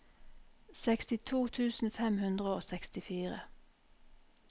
sekstito tusen fem hundre og sekstifire